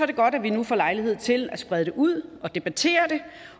det godt at vi nu får lejlighed til at sprede det ud og debattere det